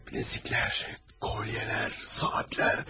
Bilərziklər, kolyələr, saatlər.